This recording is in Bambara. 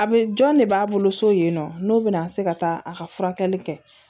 A bɛ jɔn de b'a bolo so yen nɔ n'o bɛna se ka taa a ka furakɛli kɛ